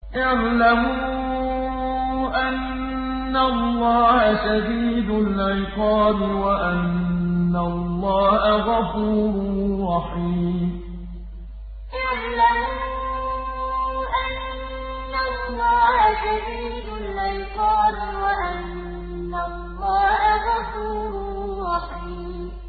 اعْلَمُوا أَنَّ اللَّهَ شَدِيدُ الْعِقَابِ وَأَنَّ اللَّهَ غَفُورٌ رَّحِيمٌ اعْلَمُوا أَنَّ اللَّهَ شَدِيدُ الْعِقَابِ وَأَنَّ اللَّهَ غَفُورٌ رَّحِيمٌ